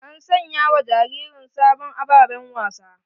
An saya wa jaririn sabon ababen wasa.